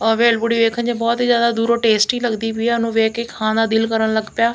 ਆਹ ਭੇਲਪੁੜੀ ਵੇਖਣ 'ਚ ਬਹੁਤ ਹੀ ਜਿਆਦਾ ਦੂਰੋ ਟੈਸਟੀ ਲੱਗਦੀ ਪਈ ਆ ਉਹਨੂੰ ਵੇਖ ਕੇ ਖਾਣ ਦਾ ਦਿਲ ਕਰਨ ਲੱਗ ਪਿਆ।